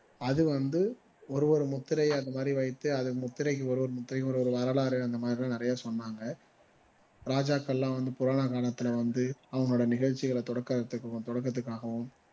அது வந்து ஒரு ஒரு முத்திரையை அந்த மாதிரி வைத்து அந்த முத்திரைக்கு ஒரு ஒரு முத்திரைக்கும் ஒரு ஒரு வரலாறு அந்தமாதிரி எல்லாம் நிறைய சொன்னாங்க ராஜாக்கள் எல்லாம் வந்து புராண காலத்துல வந்து அவங்களோட நிகழச்சிகளை தொடக்கத்து தொடக்குறதுக்காகவும்